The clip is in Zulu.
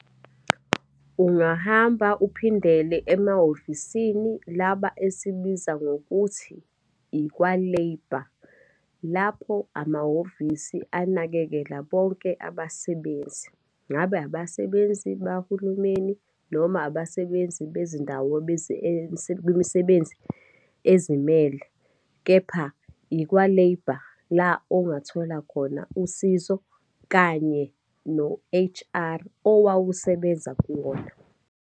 Ungahamba uphindele emahhovisini laba esibiza ngokuthi ikwa-labour, lapho amahhovisi anakekela bonke abasebenzi. Ngabe abasebenzi bahulumeni, noma abasebenzi bezindawo bemisebenzi ezimele. Kepha ikwa-labour, la ongathola khona usizo kanye no-H_R owawusebenza kuwona.